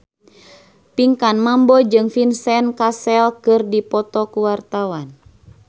Pinkan Mambo jeung Vincent Cassel keur dipoto ku wartawan